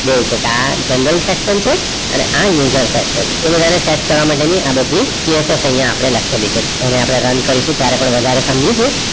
જોઈશું કે આ general section છે અને આ user section છે એ બધાને set કરવા માટેની આ બધી cassette અહીંયા આપણે લખેલી છે એને આપણે run કરી છે ત્યારે આપણે વધારે સમજીશું.